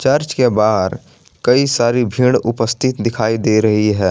Church के बाहर कई सारी भीड़ उपस्थित दिखाई दे रही है।